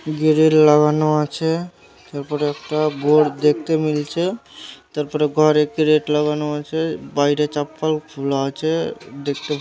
grill লাগানো আছে তারপরে একটা বোর্ড দেখতে মিলছে তারপরে ঘরে ক্রেট লাগানো আছে বাইরে চপ্পল খুলা আছে দেখতে--